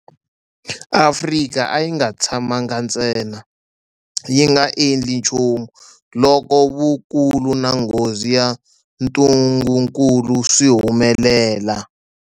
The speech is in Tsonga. Afrika a yi nga tshamangi ntsena yi nga endli nchumu loko vukulu na nghozi ya ntungukulu swi humelela.